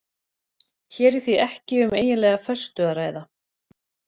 Hér er því ekki um eiginlega föstu að ræða.